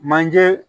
Manje